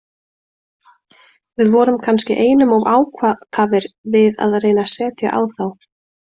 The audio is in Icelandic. Við vorum kannski einum of ákafir við að reyna að setja á þá.